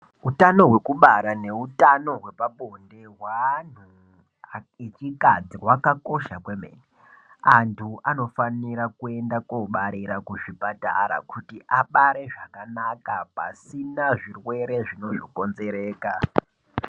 Utano hwekubara neutano hwepabonde hweantu echikadzi hwakakosha kwemene. Antu anofanira kuenda kuobarira kuzvipatara kuti abare zvakanaka pasina zvirwere zvino zokonzereka.